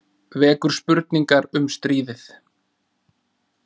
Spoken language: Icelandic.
Vekur spurningar um stríðið